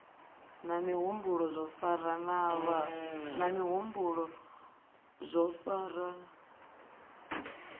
na mihumbulo zwo farana lwo